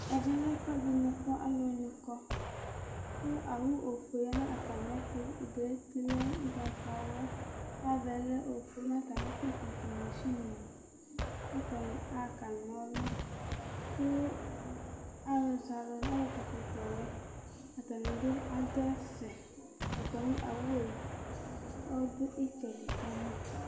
Ɛvɛ lɛ ɛfʋɛdɩ kʋ aluni kɔ, kʋ owu ofue ya nʋ atamɩɛtʋ: ʋdʋ yɛ lɛ ugbatawla, ava yɛ ofue Nʋ atami ɩdʋ, masinɩ nɩ adʋ kʋ atani aɣa kanɔlʋ Kʋ alʋ kɔɛkɔtɔwɛ, atani bɩ adʋ ɛfɛ Atami owʋ yɛ ɔdʋ ɩtsɛdɩ kama